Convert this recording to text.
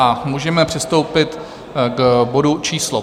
A můžeme přistoupit k bodu číslo